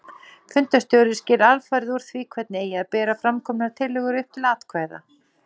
Fundarstjóri sker alfarið úr því hvernig eigi að bera framkomnar tillögur upp til atkvæða.